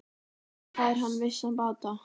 Þannig fær hann vissan bata.